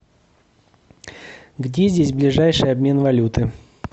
где здесь ближайший обмен валюты